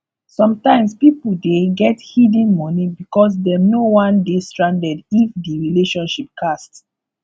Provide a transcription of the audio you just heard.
sometimes pipo dey get hidden money because dem no wan dey stranded if di relationship cast